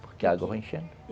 Porque a água vai enchendo.